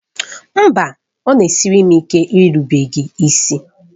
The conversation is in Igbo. Mba! Ọ na-esiri m ike irubere gị isi.